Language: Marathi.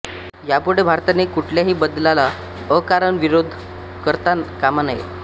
यापुढे भारताने कुठल्याही बदलाला अकारण विरोध करता कामा नये